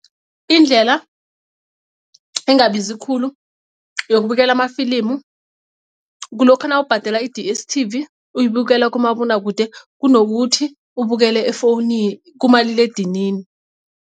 Indlela engabizi khulu yukubukela amafilimu kulokha nawubhadela i-D_S_T_V uyibukela kumabonwakude kunokuthi ubukele efowunini kumaliledinini.